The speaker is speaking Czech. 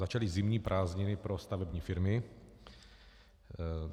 Začaly zimní prázdniny pro stavební firmy.